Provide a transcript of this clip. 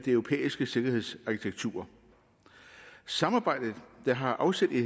europæiske sikkerhedsarkitektur samarbejdet der har afsæt i